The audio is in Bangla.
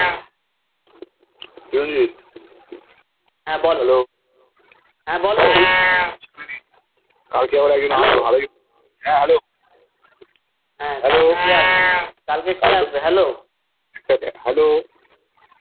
হে বলো হয় বল হে কে আসবে কালকে কে আসবে বলো